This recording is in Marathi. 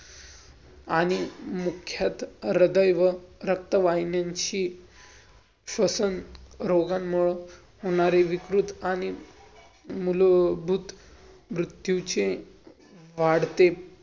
आणि मुख्यतः हृदय रक्त वाहिन्याची श्वसन रोगांमुळे होणारे विकृत आणि मुलभूत मृत्यूचे वाढते